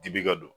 Dibi ka don